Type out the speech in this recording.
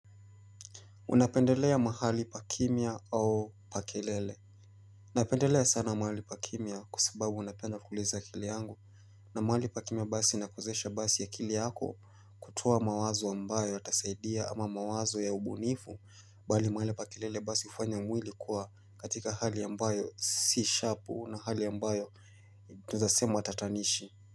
Unapendelea mahali pa kimya au pa kelele? Napendelea sana mahali pa kimya kwa sababu napenda kuuliza akili yangu. Na mahali pa kimya basi inakuwezesha basi akili yako kutoa mawazo ambayo yatasaidia ama mawazo ya ubunifu, bali mahali pa kelele basi hufanya mwili kuwa katika hali ambayo si sharpu na hali ambayo tunaeza sema tatanishi.